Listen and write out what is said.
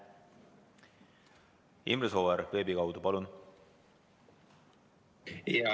Imre Sooäär veebi kaudu, palun!